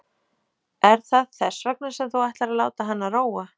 Er það þess vegna sem þú ætlar að láta hana róa?